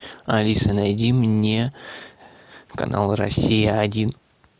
алиса найди мне канал россия один